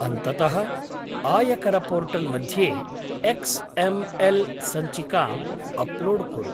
अन्ततः आयकरपोर्टल् मध्ये एक्स् एम् एल् सञ्चिकाम् अप्लोड् कुरु।